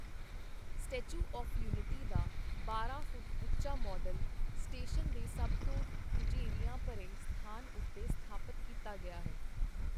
Statue of Unity ਦਾ ਬਾਰਾਂ foot ਉੱਚਾ ਮਾੱਡਲ, ਸਟੇਸ਼ਨ ਦੇ ਸਭ ਤੋਂ ਰੁਝੇਵਿਆਂ ਭਰੇ ਸਥਾਨ ਉੱਤੇ ਸਥਾਪਤ ਕੀਤਾ ਗਿਆ ਹੈ।